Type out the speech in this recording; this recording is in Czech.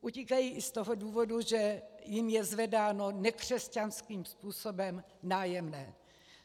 Utíkají i z toho důvodu, že jim je zvedáno nekřesťanským způsobem nájemné.